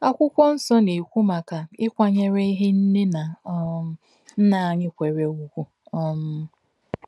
Akwụkwọ Nsọ na-ekwu maka ịkwanyere ihe nne na um nna anyị kweere ùgwù um.